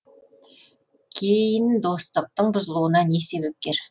кейін достықтың бұзылуына не себепкер